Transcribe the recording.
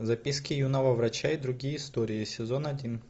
записки юного врача и другие истории сезон один